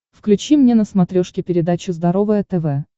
включи мне на смотрешке передачу здоровое тв